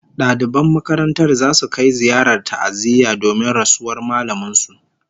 Daliban makarantar zasu kai ziyarar ta'aziyya domin rasuwar mallamin su